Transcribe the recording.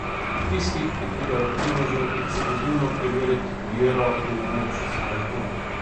Tistih, ki pridejo k Primožu ekskluzivno preverit vero v moč svojih nog.